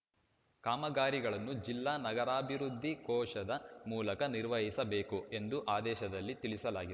ಕಾಮಗಾರಿಗಳನ್ನು ಜಿಲ್ಲಾ ನಗರಾಭಿವೃದ್ಧಿ ಕೋಶದ ಮೂಲಕ ನಿರ್ವಹಿಸಬೇಕು ಎಂದು ಆದೇಶದಲ್ಲಿ ತಿಳಿಸಲಾಗಿದೆ